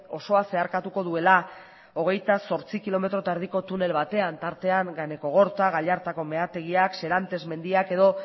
osoa zeharkatuko duela hogeita zortzi kilometro eta erdiko tunel batean tartean ganekogorta gallartako meategiak serantes mendiak edo